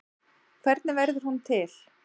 Hvernig verður hún til?